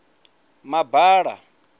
mabala